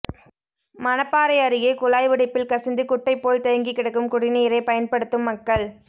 மணப்பாறை அருகே குழாய் உடைப்பில் கசிந்து குட்டைபோல் தேங்கி கிடக்கும் குடிநீரை பயன்படுத்தும் மக்கள்